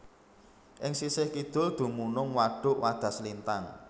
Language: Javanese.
Ing sisih kidul dumunung Wadhuk Wadaslintang